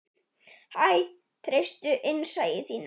Hæ, treystu innsæi þínu.